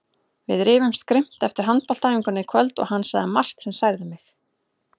Við rifumst grimmt eftir handboltaæfinguna í kvöld og hann sagði margt sem særði mig.